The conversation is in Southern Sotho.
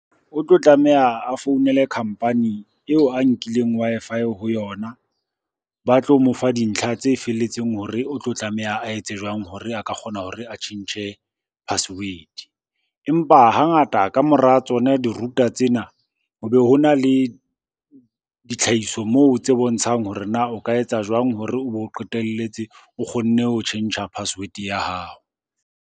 O tlo tlameha a founele company eo oe nkileng Wi-Fi ho yona. Ba tlo mo fa dintlha tse felletseng hore o tlo tlameha a etse jwang hore a ka kgona hore a tjhentjhe password-e. Empa hangata ka mora tsona di-router tsena, ho be ho na le ditlhahiso moo tse bontshang hore na o ka etsa jwang hore o be o qetelletse o kgonne ho tjhentjha password-e ya hao.